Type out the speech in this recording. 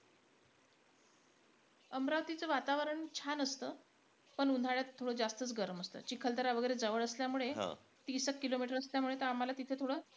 अमरावतीचं वातावरण छान असतं. पण उन्हाळ्यात थोडं जास्तचं गरम असतं. चिखलदरा वैगरे जवळ असल्यामुळे , तीसेक kilometer असल्यामुळे, त आम्हाला तिथं थोडं,